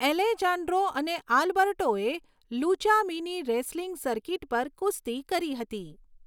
Alejandro અને આલ્બર્ટોએ Lucha mini wrestling circuit પર કુસ્તી કરી હતી.